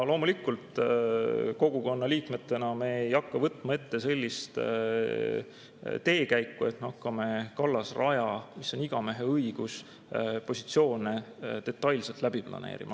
Loomulikult, kogukonna liikmetena me ei hakka võtma ette sellist käiku, et hakkame kallasraja puhul, igameheõigus, selle positsioone detailselt läbi planeerima.